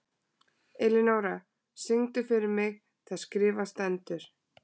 Elinóra, syngdu fyrir mig „Það skrifað stendur“.